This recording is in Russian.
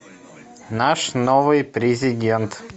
наш новый президент